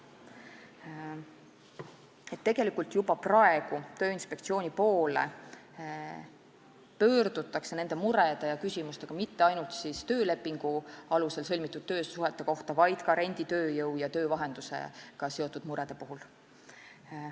Tegelikult pöördutakse juba praegu Tööinspektsiooni poole murede ja küsimustega mitte ainult töölepingu alusel sõlmitud töösuhete kohta, vaid ka renditööjõu ja töövahendusega seotud muredega.